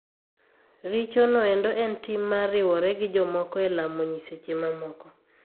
Richo noendo en tim mar riwore gi jomoko e lamo nyiseche mamoko.